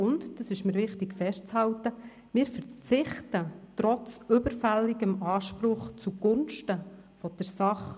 Wir verzichten – das ist mir wichtig festzuhalten – trotz überfälligem Anspruch zugunsten der Sache.